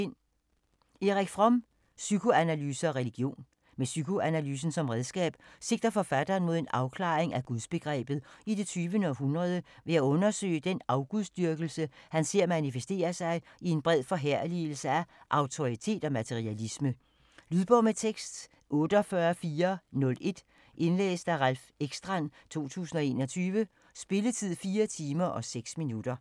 Fromm, Erich: Psykoanalyse og religion Med psykoanalysen som redskab sigter forfatteren mod en afklaring af gudsbegrebet i det 20. århundrede ved at undersøge den afgudsdyrkelse han ser manifesterer sig i en bred forherligelse af autoritet og materialisme. Lydbog med tekst 48401 Indlæst af Ralph Ekstrand, 2021. Spilletid: 4 timer, 6 minutter.